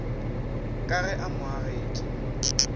ka ge a mo agetše